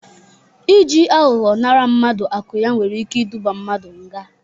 Ị ji aghọghọ nara mmadụ akụ ya nwere ike iduba mmadụ nga.